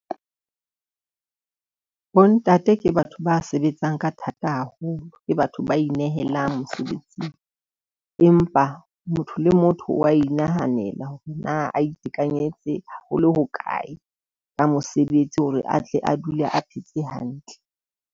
Bontate ke batho ba sebetsang ka thata haholo ke batho ba inehela mosebetsing. Empa motho le motho wa inahanela hore na a itekanetse ho le hokae ka mosebetsi hore atle a dule a phetse hantle.